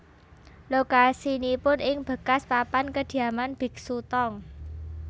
Lokasinipun ing bekas papan kediaman biksu Tong